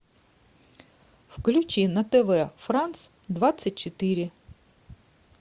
включи на тв франц двадцать четыре